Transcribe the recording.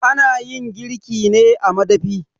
A nayin girki ne a madafi